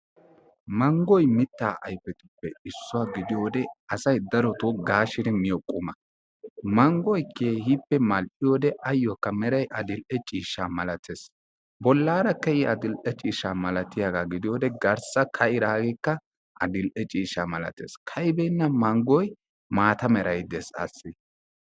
Manggoy mittaa ayfetuppe issuwa gidiyode asay darotoo gaashidi miyo quma. Manggoy keehippe mal"iyode ayyo meray adil"e ciishsha malatees. Bollaarakka I adil"e cishsha malatiyagaa .gidiyode garssa ka"idaageekk adil"e ciishsha malatees. Ka"ibeenna manggoy maata meray dees assi.